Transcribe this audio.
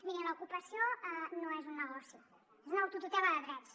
mirin l’ocupació no és un negoci és una autotutela de drets